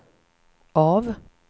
av